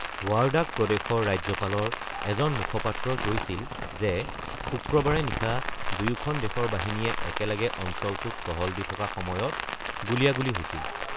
Wardak প্ৰদেশৰ ৰাজ্যপালৰ এজন মুখপাত্ৰই কৈছিল যে শুক্ৰবাৰে নিশা দুয়োখন দেশৰ বাহিনীয়ে একেলগে অঞ্চলটোত টহল দি থকা সময়ত গুলীয়াগুলি হৈছিল।